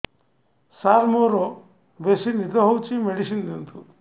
ସାର ମୋରୋ ବେସି ନିଦ ହଉଚି ମେଡିସିନ ଦିଅନ୍ତୁ